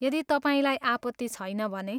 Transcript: यदि तपाईँलाई आपत्ति छैन भने।